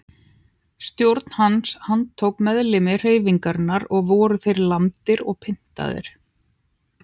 Stjórn hans handtók meðlimi hreyfingarinnar og voru þeir lamdir og pyntaðir.